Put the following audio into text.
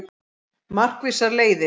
Markvissar leiðir